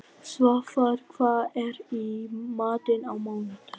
Svafar, hvað er í matinn á mánudaginn?